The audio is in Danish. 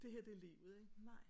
Det her er livet ikke? Nej